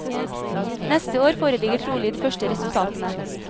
Neste år foreligger trolig de første resultatene.